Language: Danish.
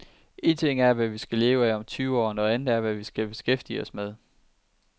En ting er, hvad vi skal leve af om tyve år, noget andet er, hvad vi skal beskæftige os med.